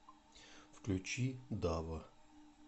включи дава